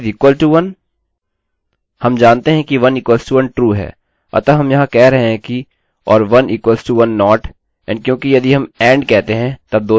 हम जानते हैं कि 1 equals to 1 true है अतः यहाँ हम कह रहे हैं किor1 equals to 1 not and क्योंकि यदि हम and कहते हैं तब दोनों को true होना चाहिए